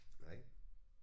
Nej